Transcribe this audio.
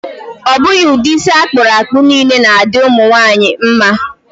Ọ bụghị ụdị isi akpụrụ akpụ niile na-adị ụmụ nwaanyị mma.